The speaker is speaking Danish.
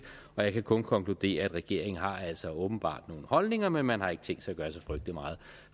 og jeg kan kun konkludere at regeringen altså åbenbart har nogle holdninger men man har ikke tænkt sig at gøre så frygtelig meget